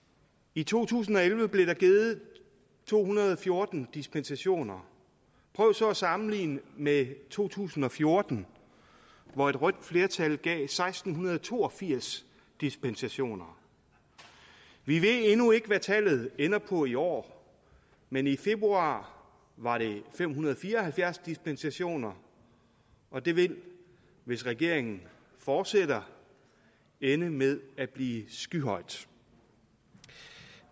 i to tusind og elleve blev der givet to hundrede og fjorten dispensationer prøv så at sammenligne med to tusind og fjorten hvor et rødt flertal gav seksten to og firs dispensationer vi ved endnu ikke hvad tallet ender på i år men i februar var det fem hundrede og fire og halvfjerds dispensationer og det vil hvis regeringen fortsætter ende med at blive skyhøjt